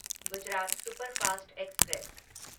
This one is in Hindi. Gujarat superfast express